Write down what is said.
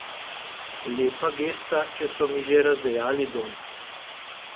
Lepa gesta, če so mi že razdejali dom.